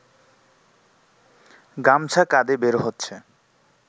গামছা কাঁধে বের হচ্ছে